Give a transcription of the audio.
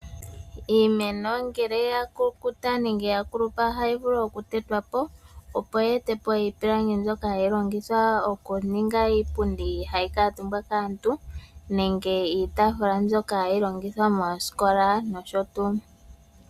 Iimeno ngele ya kulupa nenge ya si po ohayi vulu okutetwa po, opo yi ete po iipilangi mbyoka hayi longithwa okuninga iipundni mbyoka hayi kuutumbwa kaantu nenge iitaafula mbyoka hayi longithwa mooskola nosho tuu.